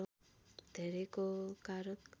धेरैको कारक